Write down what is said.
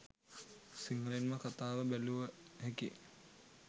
සිංහලෙන්ම කථාව බැලුව හැකි